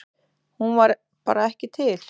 Hún var bara ekki til.